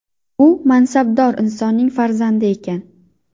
U mansabdor insonning farzandi ekan.